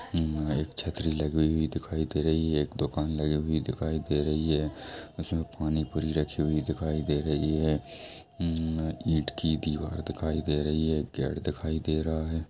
हम्म अ एक छतरी लगी हुई दिखाई दे रही है। एक दुकान लगाई हुई दिखाई दे रही है उसमें पानीपुरी रखी हुई दिखाई दे रही है। ईमम ईंट की दीवार दिखाई दे रही है। गेट दिखाई दे रहा है।